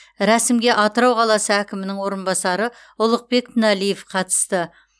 рәсімге атырау қаласы әкімінің орынбасары ұлықбек тіналиев қатысты